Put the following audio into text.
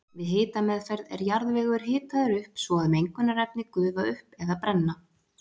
Við hitameðferð er jarðvegur hitaður upp svo að mengunarefni gufa upp eða brenna.